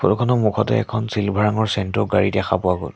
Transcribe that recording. মুখতে এখন চিলভাৰ ৰঙৰ চেন্ট্ৰ' গাড়ী দেখা পোৱা গল।